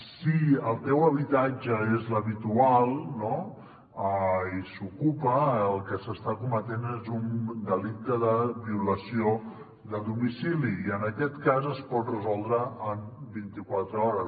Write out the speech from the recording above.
si el teu habitatge és l’habitual no i s’ocupa el que s’està cometent és un delicte de violació de domicili i en aquest cas es pot resoldre en vint i quatre hores